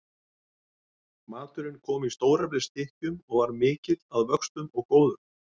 Maturinn kom í stóreflis stykkjum og var mikill að vöxtum og góður.